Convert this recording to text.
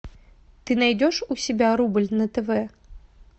ты найдешь у себя рубль на тв